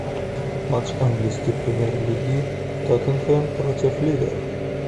матч английской премьер лиги тоттенхэм против ливер